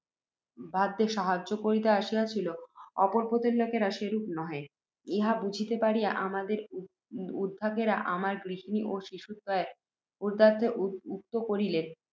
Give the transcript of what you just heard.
সাহায্য করিতে আসিয়াছিলেন, অপর পোতের লোকেরা সেরূপ নহেন, ইহা বুঝিতে পারিয়া, আমাদের উদ্ধারকেরা, আমার গৃহিণী ও শিশুদ্বয়ের উদ্ধারার্থ উদ্যুক্ত